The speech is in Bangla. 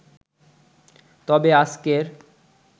তবে আজকের